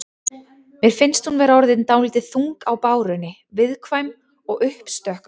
Mér finnst hún vera orðin dálítið þung á bárunni. viðkvæm og uppstökk á köflum.